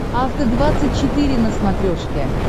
афта двадцать четыре на смотрешке